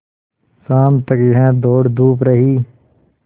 शाम तक यह दौड़धूप रही